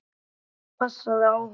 Þú skalt passa þig á honum!